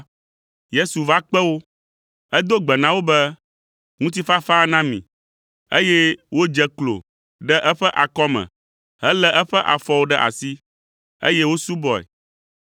Yesu va kpe wo. Edo gbe na wo be, “Ŋutifafa na mi,” eye wodze klo ɖe eƒe akɔme helé eƒe afɔwo ɖe asi, eye wosubɔe.